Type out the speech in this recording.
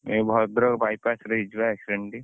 ଏଇ ଭଦ୍ରକ bypass ରେ ହେଇଛି ବା accident ଟି